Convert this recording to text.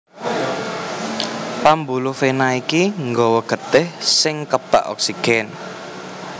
Pambuluh vena iki nggawa getih sing kebak oksigen